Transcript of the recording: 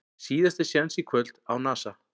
Síðasti séns í kvöld á Nasa